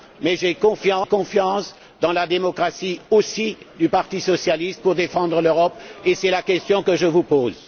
Mais j'ai confiance dans la démocratie aussi du parti socialiste pour défendre l'Europe, et c'est la question que je vous pose.